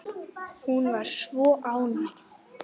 Hún var svo ánægð.